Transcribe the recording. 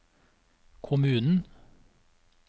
kommunen